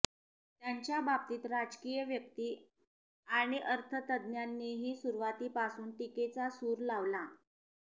त्यांच्या बाबतीत राजकीय व्यक्ती आणि अर्थतज्ज्ञांनीही सुरुवातीपासून टीकेचा सूर लावला